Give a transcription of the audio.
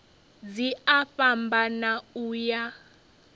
dzi a fhambana u ya